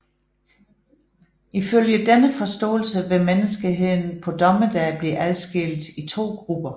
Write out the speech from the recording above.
Ifølge denne forståelse vil menneskeheden på dommedag blive adskilt i to grupper